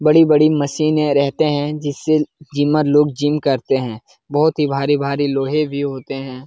बड़े बड़े मशीने रहते हैं जिससे जिमर लोग जिम करते हैं बहुत ही भारी-भारी लोहे भी होते हैं।